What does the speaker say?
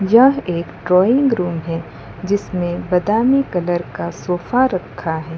यह एक drawing room है जिसमें बादामी कलर का सोफा रखा है।